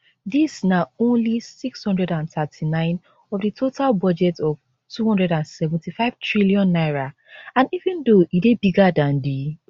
dis na only 639 of di total budget of n275 trillion and even though e dey bigger dan di